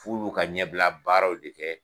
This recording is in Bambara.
F'ulu ka ɲɛbila baaraw de kɛ.